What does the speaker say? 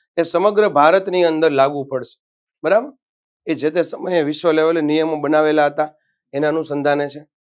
કે સમગ્ર ભારતની અદર લાગુ પડસે બરાબર જે તે સમય વિશ્નિ level એ નીયમો બનાએલા હતાં એના અણુ સધા છે.